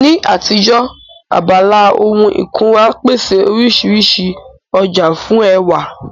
Ní àtijọ́, abala ohun ìkunra pèsè oríṣiríṣi ọjà fún ẹwà